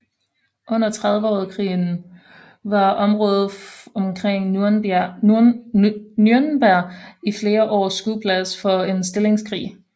Under Trediveårskrigen var området omkring Nürnberg i flere år skueplads for en stillingskrig